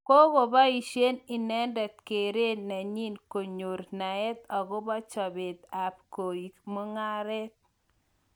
Kigobaishe inendet keret nenyii konyor naet agopo chobeet ak koek mung'aret.